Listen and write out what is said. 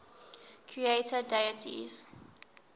creator deities